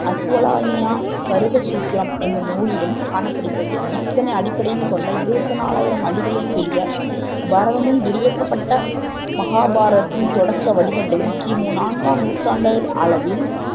அசுவலான்யா கிருதசூத்திரம் என்னும் நூலிலும் காணப்படுகிறது இத்தனை அடிப்படையும் கொண்ட இருவத்தி நாலயிரம் அடிகளின் கூடிய பாரதமும் விரிவாக்கப்பட்ட மகாபாரதத்தின் தொடக்க வடிவங்களும் கிமு நான்காம் நூற்றாண்டு அளவில்